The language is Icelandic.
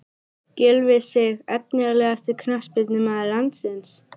Gylfi Sig Efnilegasti knattspyrnumaður landsins?